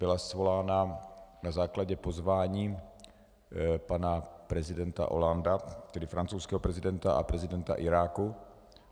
Byla svolána na základě pozvání pana prezidenta Hollandea, tedy francouzského prezidenta, a prezidenta Iráku.